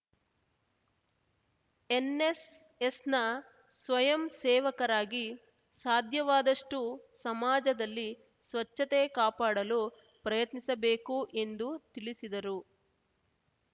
ಎನ್‌ಎಸ್‌ಎಸ್‌ನ ಸ್ವಯಂ ಸೇವಕರಾಗಿ ಸಾಧ್ಯವಾದಷ್ಟುಸಮಾಜದಲ್ಲಿ ಸ್ವಚ್ಛತೆ ಕಾಪಾಡಲು ಪ್ರಯತ್ನಿಸಬೇಕು ಎಂದು ತಿಳಿಸಿದರು